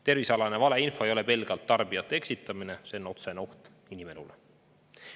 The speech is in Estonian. Tervisealane valeinfo ei ole pelgalt tarbijate eksitamine, see on otsene oht inimeste elule.